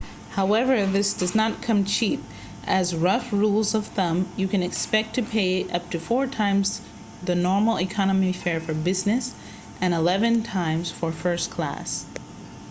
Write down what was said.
however this does not come cheap as rough rules of thumb you can expect to pay up to four times the normal economy fare for business and eleven times for first class